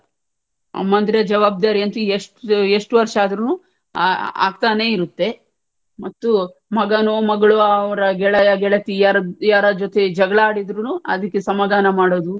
ಅಮ್ಮಂದಿರ ಜವಾಬ್ದಾರಿಯಂತೂ ಎಷ್ಟ ಎಷ್ಟು ವರ್ಷ ಆದ್ರೂನೂ ಆ ಆಗ್ತಾನೇ ಇರುತ್ತೆ ಮತ್ತು ಮಗನು ಮಗಳು ಅವರ ಗೆಳೆಯ ಗೆಳತಿಯರ ಯಾರ ಜೊತೆ ಜಗಳ ಆಡಿದ್ರುನು ಅದಕ್ಕೆ ಸಮಾಧಾನ ಮಾಡುದು,